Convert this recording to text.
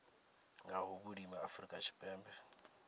nga ha vhulimi afrika tshipembe